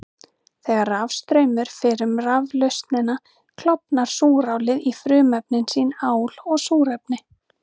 Þegar rafstraumur fer um raflausnina klofnar súrálið í frumefni sín, ál og súrefni.